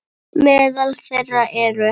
Meðal þeirra eru